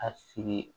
A sigi